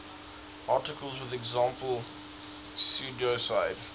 articles with example pseudocode